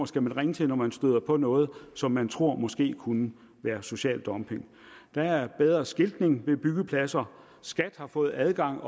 skal ringe til når man støder på noget som man tror måske kunne være social dumping der er bedre skiltning ved byggepladser skat har fået adgang